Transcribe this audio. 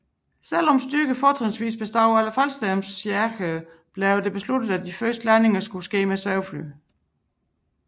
Selv om styrker fortrinsvis bestod af faldskærmsjægere blev det besluttet at de første landinger skulle ske med svævefly